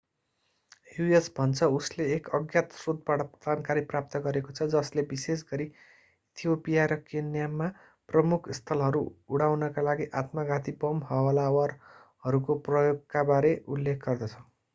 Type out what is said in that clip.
US. भन्छ उसले एक अज्ञात स्रोतबाट जानकारी प्राप्त गरेको छ जसले विशेषगरी इथियोपिया र केन्या मा प्रमुख स्थलहरू” उडाउनका लागि आत्मघाती बम हमलावरहरूको प्रयोगका बारे उल्लेख गर्दछ।